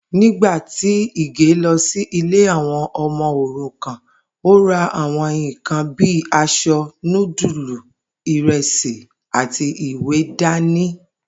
Nígbà tí Ìgè lo̩ sí ilé àwo̩n o̩mo̩ òrukàn, ó ra àwo̩n nǹkan bíi as̩o̩, núdùlù, ìre̩sì àti ìwé dání